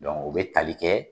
o be tali kɛ